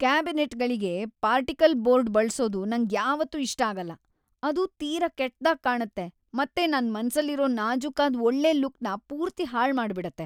ಕ್ಯಾಬಿನೆಟ್ಗಳಿಗೆ particle board ಬಳ್ಸೋದು ನಂಗ್ಯಾವತ್ತೂ ಇಷ್ಟ ಆಗಲ್ಲ. ಅದು ತೀರಾ ಕೆಟ್ದಾಗ್ ಕಾಣತ್ತೆ ಮತ್ತೆ ನನ್‌ ಮನ್ಸಲ್ಲಿರೋ ನಾಜೂಕಾದ್‌ ಒಳ್ಳೆ ಲುಕ್‌ನ ಪೂರ್ತಿ ಹಾಳ್‌ ಮಾಡ್ಬಿಡತ್ತೆ.